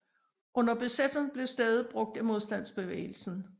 Under besættelsen blev stedet brugt af modstandsbevægelsen